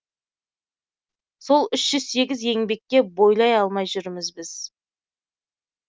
сол үш жүз сегіз еңбекке бойлай алмай жүрміз біз